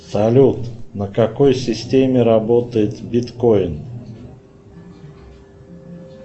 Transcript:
салют на какой системе работает биткоин